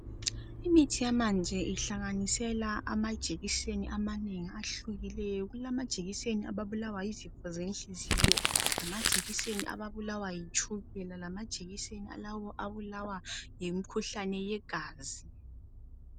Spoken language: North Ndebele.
Imithi yamanje ihlanganisela amajekiseni amanengi ahlukileyo. Kulamajekiseni ababulawa yizifo zenhliziyo lamajekiseni ababulawa litshukela, lamajekiseni alabo ababulawa yimkhuhlane yegazi.